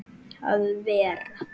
að vera.